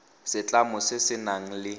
setlamo se se nang le